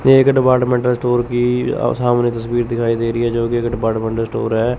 ये एक departmental store की सामने तस्वीर दिखाई दे रही है जो की एक डिपार्टमेंटल स्टोर है।